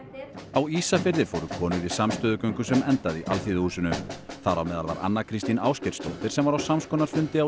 á Ísafirði fóru konur í samstöðugöngu sem endaði í Alþýðuhúsinu þar á meðal var Anna Kristín Ásgeirsdóttir sem var á samskonar fundi á